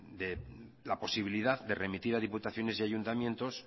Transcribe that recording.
de la posibilidad de remitir a diputaciones y ayuntamientos